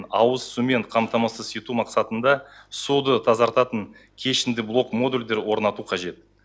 ауызсумен қамтамасыз ету мақсатында суды тазартатын кешенді блок модульдер орнату қажет